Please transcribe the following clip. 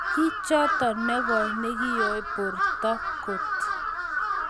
Kichotoo negoi nekioo portoo koot